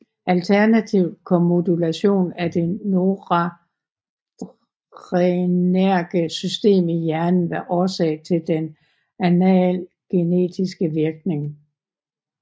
Alternativt kan modulation af det noradrenerge system i hjernen være årsag til den analgetiske virkning